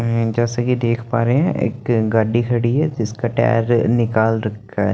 हुम्म जैसे कि देख पा रहे हैं एक गाड़ी खड़ी है जिसका टायर निकाल रखा है।